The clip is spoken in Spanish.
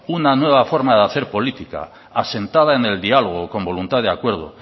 una nueva forma de hacer política asentada en el diálogo con voluntad de acuerdo